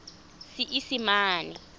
seesimane